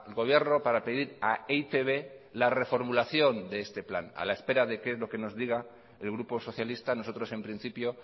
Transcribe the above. gobierno para pedir a e i te be la reformulación de este plan a la espera de que es lo que nos diga el grupo socialista nosotros en principio